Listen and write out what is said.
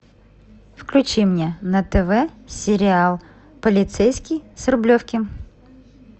включи мне на тв сериал полицейский с рублевки